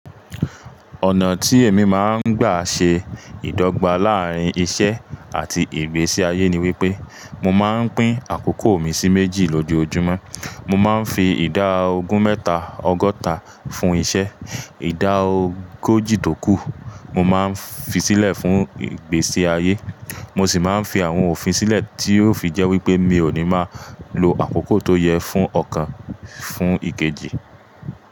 Ọ̀nà tí èmi máa ń gbà ṣe ìdọ́gba láàárín iṣẹ́ àti ìgbésí ayé ni wípé mo máa ń pín àkókò mi sí méjì lójoojúmọ́. Mo máa ń fi ìdá ogún mẹ́ta ọgọ́ta fún iṣẹ́, ìdá ogójì tó kù mo máa ń fi sílẹ̀ fún ìgbésí ayé. Mo sì máa ń fi àwọn òfin sílẹ̀ tí yóò fi jẹ́ wípé mi ò ní máa lo àkókò tó yẹ fún ọ̀kan fún ìkejì.